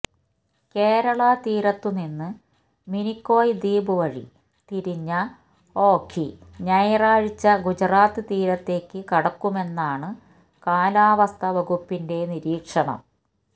കേരളതീരത്തുനിന്നു മിനിക്കോയ് ദ്വീപ് വഴി തിരിഞ്ഞ ഓഖി ഞായറാഴ്ച ഗുജറാത്ത് തീരത്തേക്കു കടക്കുമെന്നാണു കാലാവസ്ഥാ വകുപ്പിന്റെ നിരീക്ഷണം